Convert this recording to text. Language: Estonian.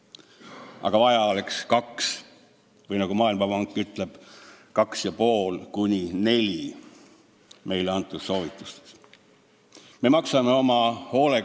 Aga vaja oleks 2% või nagu Maailmapank ütleb meile antud soovitustes: 2,5%–4%.